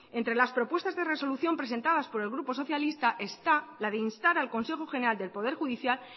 entre las propuestas de resolución presentadas por el grupo socialista está la de instar al consejo general del poder judicial